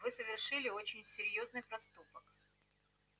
вы совершили очень серьёзный проступок